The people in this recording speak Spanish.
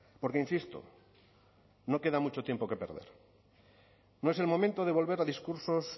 porque insisto no queda mucho tiempo que perder no es el momento de volver a discursos